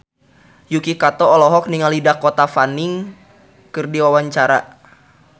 Yuki Kato olohok ningali Dakota Fanning keur diwawancara